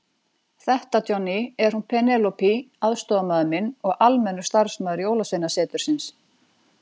Þetta Johnny, er hún Penélope aðstoðarmaður minn og almennur starfsmaður Jólasveinasetursins.